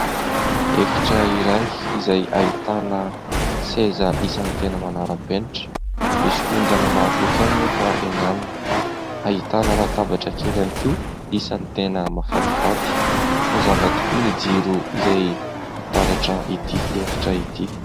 Efitra iray izay ahitana seza isany tena manara-penitra, misy ondana maro loko ihany anefa eny aminy, ahitana latabatra kely ihany koa, isany tena mahafatifaty, mazava tokoa ny jiro izay mitaratra ity efitra ity.